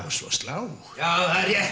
og slá já það er rétt